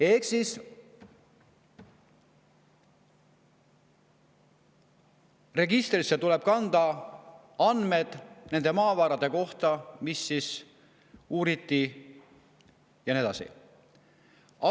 " Ehk siis andmed nende maavarade kohta, mida uuriti, tuleb registrisse kanda.